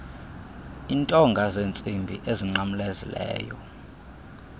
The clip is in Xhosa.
intonga zentsimbi ezinqamlezileyo